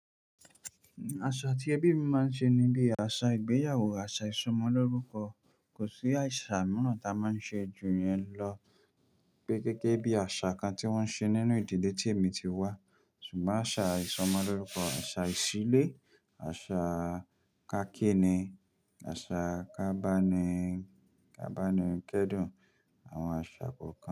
Àṣà tí ẹbí mi máa ń ṣe níbí, àṣà ìgbéyàwó, àṣà ìsọmọ lórúkọ. Kò sí àṣà mìíràn tá a máa ń ṣe ju yẹn lọ. Pé gégé bí i àṣà kan tí wọ́n ṣe nínú ìdílé tí èmi ti wá. Ṣùgbọ́n àṣà ìsọmọ lórúkọ, àṣà ìsílé, àṣà kakíni, àṣà kábánikẹ́dùn àwọn àṣà kọ̀ọ̀kan.